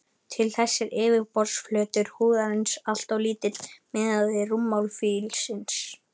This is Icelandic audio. Til þess er yfirborðsflötur húðarinnar alltof lítill miðað við rúmmál fílsins.